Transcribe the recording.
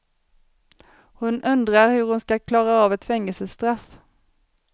Hon undrar hur hon ska klara av ett fängelsestraff.